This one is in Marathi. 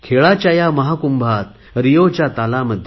खेळाच्या या महाकुंभामध्ये रिओच्या तालामध्ये